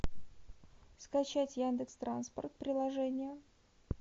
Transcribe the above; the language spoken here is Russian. скачать яндекс транспорт приложение